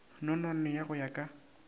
nonwane ya go ya ka